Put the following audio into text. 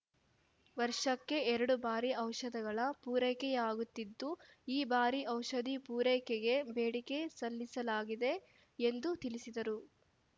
ವರ್ಷಕ್ಕೆ ಎರಡು ಬಾರಿ ಔಷಧಗಳ ಪೂರೈಕೆಯಾಗುತ್ತಿದ್ದು ಈ ಬಾರಿ ಔಷಧಿ ಪೂರೈಕೆಗೆ ಬೇಡಿಕೆ ಸಲ್ಲಿಸಲಾಗಿದೆ ಎಂದು ತಿಳಿಸಿದರು